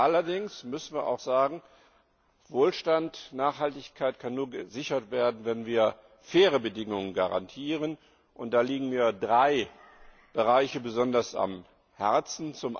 Allerdings müssen wir auch sagen, Wohlstand und Nachhaltigkeit können nur gesichert werden, wenn wir faire Bedingungen garantieren, und da liegen mir drei Bereiche besonders am Herzen.